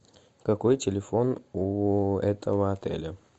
какой телефон у этого отеля